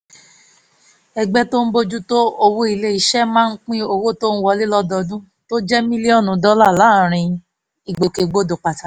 ẹgbẹ́ tó ń bójú tó òwò ilé iṣẹ́ máa pín owó tó ń wọlé lọ́dọọdún tó jẹ́ mílíọ̀nù dọ́là láàárín ìgbòkègbodò pàtàkì